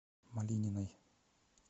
малининой